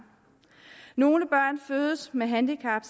nogle børn fødes med handicap